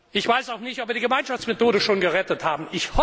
Ich weiß auch nicht, ob wir die Gemeinschaftsmethode schon gerettet haben.